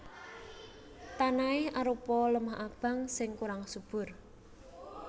Tanahé arupa lemah abang sing kurang subur